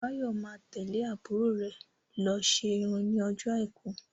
Báyọ̀ má tẹ́lẹ̀ àbúrò rè lọ ṣe irun ní ọjọ́ àìkú